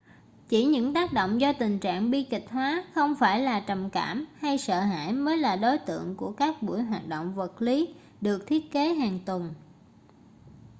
chỉ những tác động do tình trạng bi kịch hóa không phải là trầm cảm hay sợ hãi mới là đối tượng của các buổi hoạt động vật lý được thiết kế hàng tuần